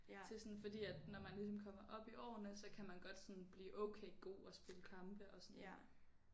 Til sådan fordi at når man ligesom kommer op i årene så kan man godt sådan blive okay god og spille kampe og sådan